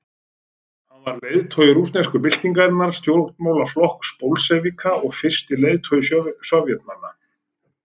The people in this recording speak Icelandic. Hann var leiðtogi rússnesku byltingarinnar, stjórnmálaflokks bolsévíka og fyrsti leiðtogi Sovétríkjanna.